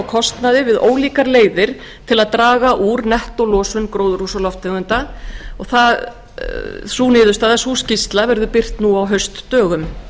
kostnaði við ólíkar leiðir til að draga úr nettólosun gróðurhúsalofttegunda sem birt verður nú á haustdögum